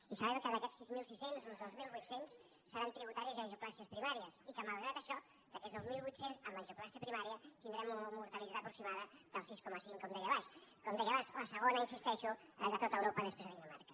i sabem que d’aquests sis mil sis cents uns dos mil vuit cents seran tri·butaris i angioplàsties primàries i que malgrat això d’aquests dos mil vuit cents amb angioplàstia primària tindrem una mortalitat aproximada del sis coma cinc com deia abans la segona hi insisteixo de tot europa després de dina·marca